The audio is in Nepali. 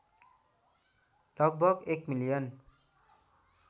लगभग १ मिलियन